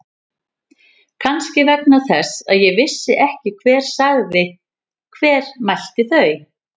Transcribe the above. Kannski vegna þess að ég vissi ekki hver sagði. hver mælti þau.